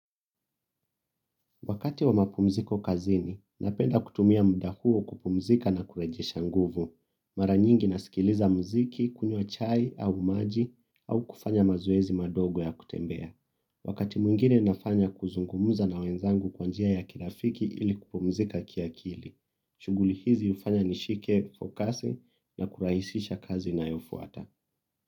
Wakati wa mapumziko kazini, napenda kutumia muda huo kupumzika na kurejesha nguvu. Mara nyingi na sikiliza muziki kunywa chai au maji au kufanya mazoezi madogo ya kutembea. Wakati mwingine nafanya kuzungumza na wenzangu kwa njia ya kirafiki ili kupumzika kiakili. Shughuli hizi hufanya nishike, fokasi na kurahisisha kazi inayofuata.